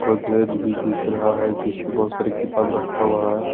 बोगरेज भी दिख रहा है जिसमें बहुत सारे किताब भी रखा हुआ है।